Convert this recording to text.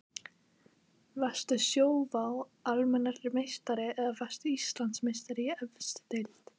Varstu Sjóvá Almennrar meistari eða varðstu Íslandsmeistari í efstu deild?